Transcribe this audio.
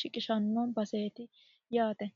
suuqiranno baseeti yaate.